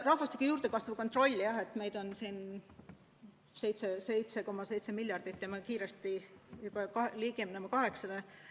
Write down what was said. Rahvastiku juurdekasvu kontroll – jah, meid on siin 7,7 miljardit ja kiiresti ligineme kaheksale.